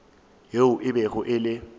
yeo e bego e le